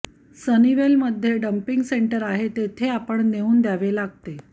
Sunnyvale मधे dumping centre आहे तेथे आपण नेऊन द्यावे लागते